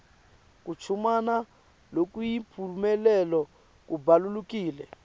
kuchumana lokuyimphumelelo kubalulekile